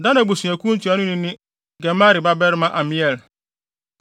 Dan abusuakuw no ntuanoni ne Gemali babarima Amiel;